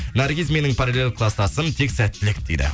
наргиз менің параллель класстасым тек сәттілік дейді